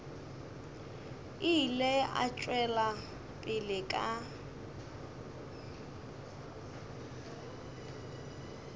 ile a tšwela pele ka